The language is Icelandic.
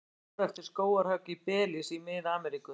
Sár eftir skógarhögg í Belís í Mið-Ameríku.